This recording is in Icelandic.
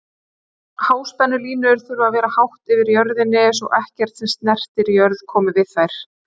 Háspennulínur þurfa að vera hátt yfir jörðinni svo ekkert sem snertir jörð komi við þær.